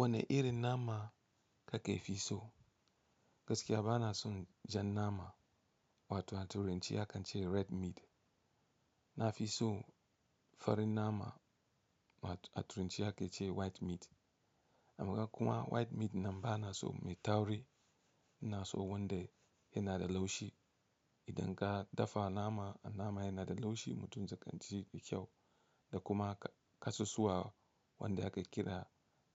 Wane irin nama ka ke fi so? Gaskiya ba na son jan nama wato a turance akan ce red meat. Na fi so farin nama wato a turance ake ce white meat. Amaka kuma white meat nan ba na so mai tauri, ina so wanda yana da laushi. Idan ka dafa nama, a nama yana da laushi mutum zai kanci fi kyau da kuma kasusuwa wanda ake kira